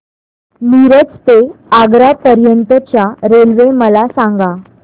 मिरज ते आग्रा पर्यंत च्या रेल्वे मला सांगा